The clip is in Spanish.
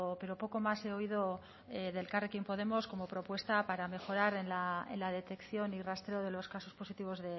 pero poco más he oído de elkarrekin podemos como propuesta para mejorar en la detección y rastreo de los casos positivos